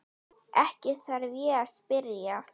Ekki þarf ég að spyrja.